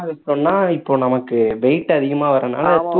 அதிகமா இப்போ நமக்கு weight அதிகமா வர்றதுனால தூக்க~